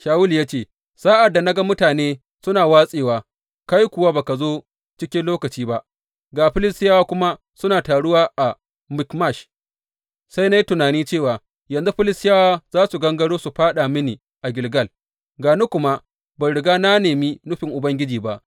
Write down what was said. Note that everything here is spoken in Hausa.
Shawulu ya ce, Sa’ad da na ga mutane suna watsewa, kai kuwa ba ka zo cikin lokaci ba, ga Filistiyawa kuma suna taruwa a Mikmash, sai na yi tunani cewa, Yanzu Filistiyawa za su gangaro su fāɗa mini a Gilgal, ga ni kuma ban riga na nemi nufin Ubangiji ba.’